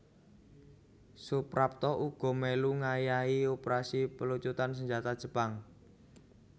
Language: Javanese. Suprapto uga mèlu ngayahi operasi pelucutan senjata Jepang